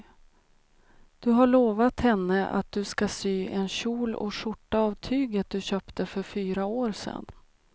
Du har lovat henne att du ska sy en kjol och skjorta av tyget du köpte för fyra år sedan.